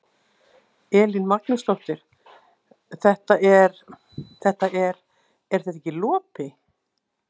Elín Magnúsdóttir: Þetta er, þetta er, er þetta ekki lopi?